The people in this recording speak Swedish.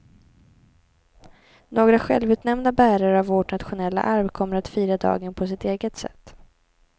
Några självutnämnda bärare av vårt nationella arv kommer att fira dagen på sitt eget sätt.